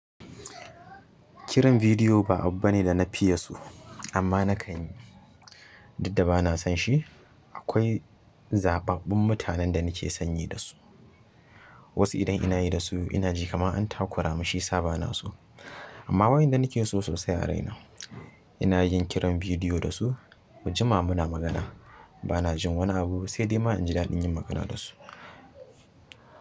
Kiran bidiyo ba abu bane da na fiye so, amma na kan yi. Didda ba na san shi. Akwai zaɓaɓɓin mutanen da nake sanyi da su. Wasu idan ina yi dasu ina ji kaman an takura min shiyasa bana so. Amma wa'yanda nake so sosai a raina, ina yin kiran bidiyo da su, mu jima muna magana. Bana jin wani abu saidai ma inji daɗin magana dasu.